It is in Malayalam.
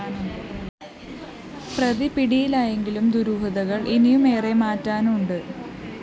പ്രതിപിടിയിലായെങ്കിലും ദുരൂഹതകള്‍ ഇനിയുമേറെ മാറാനുണ്ട്